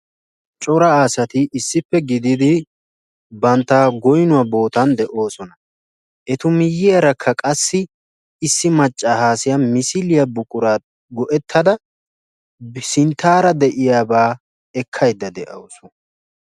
Cora asati issippe gididi bantta goyinuwa bootan de'oosona. Etu miyyiyarakka qassi issi maccaasiya etu misiliya buquraa go'ettada sinttaara de'iyabaa ekkayidda de'awusu.